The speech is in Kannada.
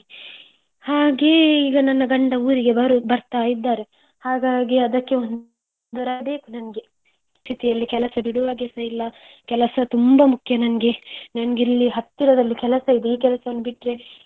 ಹಾಗೆ ಈಗ ನನ್ನ ಗಂಡ ಊರಿಗೆ ಬರ್ತಾ ಇದ್ದಾರೆ ಹಾಗಾಗಿ ಅದಕ್ಕೆ ಒಂದು ಪರಿಸ್ಥಿತಿ ಅಲ್ಲಿ ಕೆಲಸ ಬಿಡುವ ಹಾಗೆಸ ಇಲ್ಲ ಕೆಲಸ ತುಂಬಾ ಮುಖ್ಯ ನನ್ಗೆ. ನಂಗೆ ಇಲ್ಲಿ ಹತ್ತಿರದಲ್ಲಿ ಕೆಲಸ ಇದೆ ಈ ಕೆಲಸವನ್ನು ಬಿಟ್ಟ್ರೆ.